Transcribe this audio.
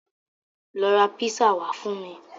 Lọ ra písà wá fún mi.